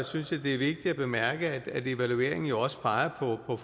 synes jeg det er vigtigt at bemærke at evalueringen jo også peger på